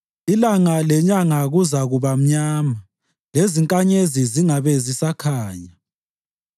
Ilanga lenyanga kuzakuba mnyama, lezinkanyezi zingabe zisakhanya.